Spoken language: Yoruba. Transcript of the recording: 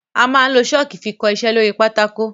Amá n lo Ṣọ́ọ́kì fi kọ iṣẹ́ lóri pátákó.